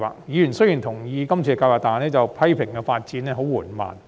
雖然委員同意今次計劃，但批評發展進度緩慢。